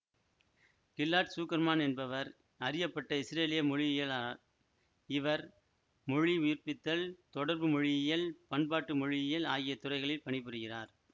Gillard Zuckermann என்பவர் அறியப்பட்ட இசுரேலிய மொழியியலாளர் இவர் மொழி உயிர்பித்தல் தொடர்பு மொழியியல் பண்பாட்டு மொழியியல் ஆகிய துறைகளில் பணிபுரிகிறார்